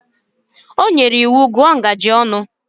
O nyere iwu, gụọ ngaji ọnụ!